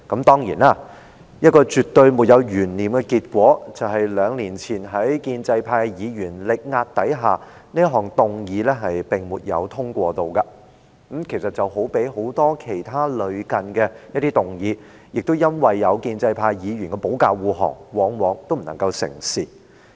當然，在兩年前，一個絕對沒有懸念的結果是，在建制派議員力壓之下，這項議案不獲通過，與很多其他類似的議案一樣，因為有建制派議員的保駕護航而不能成事。